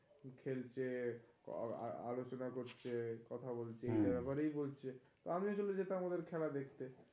খেলছে আলোচনা করছে কথা বলছে. এ ব্যাপারেই বলছে, আমি আসলে যেতাম ওদের খেলা দেখতে.